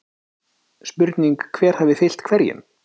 Spurning hver hafi fylgt hverjum??